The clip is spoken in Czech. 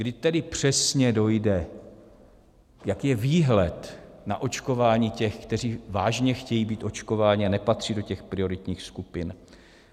Kdy tedy přesně dojde, jaký je výhled na očkování těch, kteří vážně chtějí být očkování a nepatří do těch prioritních skupin?